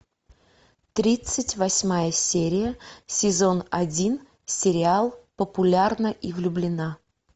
тридцать восьмая серия сезон один сериал популярна и влюблена